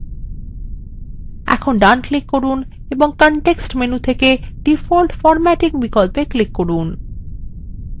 এখন ডান click করুন এবং context menu থেকে default formatting বিকল্পে click করুন